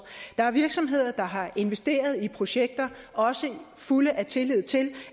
der er virksomheder der har investeret i projekter også i fuld tillid til